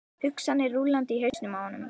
Hugsanirnar rúllandi í hausnum á honum.